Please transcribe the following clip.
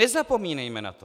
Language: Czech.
Nezapomínejme na to!